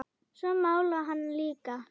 Svo málaði hann líka.